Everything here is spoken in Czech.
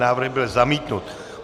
Návrh byl zamítnut.